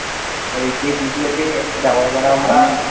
আর যে BPO তে দেখো এবার আমরা